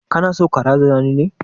Kana so ka razana ni ne?